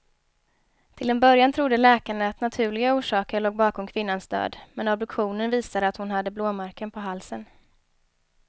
Till en början trodde läkarna att naturliga orsaker låg bakom kvinnans död, men obduktionen visade att hon hade blåmärken på halsen.